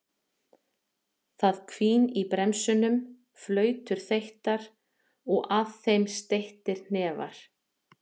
Það hvín í bremsum, flautur þeyttar og að þeim steyttir hnefar.